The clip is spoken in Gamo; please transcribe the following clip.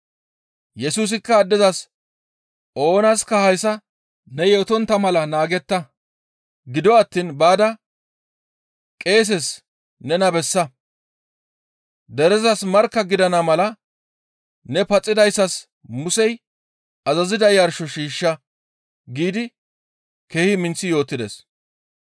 Yesusikka addezas, «Oonaska hayssa ne yootontta mala naagetta; gido attiin baada qeeses nena bessa. Derezas markka gidana mala ne paxidayssas Musey azazida yarsho shiishsha» giidi keehi minththi yootides.